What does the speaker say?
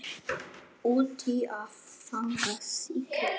Úti að fagna sigri.